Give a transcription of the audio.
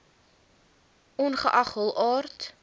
ongeag hul aard